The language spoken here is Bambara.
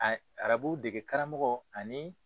A arabu dege karamɔgɔ ani.